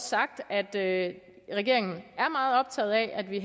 sagt at regeringen er meget optaget af at vi